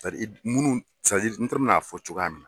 munnu n t'a dɔn mɛna fɔ cogoya min na.